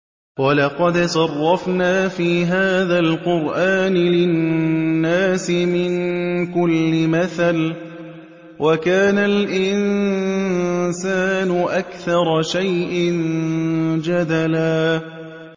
وَلَقَدْ صَرَّفْنَا فِي هَٰذَا الْقُرْآنِ لِلنَّاسِ مِن كُلِّ مَثَلٍ ۚ وَكَانَ الْإِنسَانُ أَكْثَرَ شَيْءٍ جَدَلًا